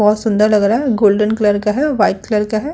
बहुत सुंदर लग रहा है। गोल्डन कलर का है और व्हाइट कलर का है।